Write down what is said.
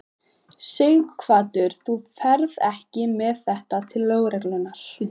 Sighvatur: Þú ferð ekki með þetta til lögreglunnar?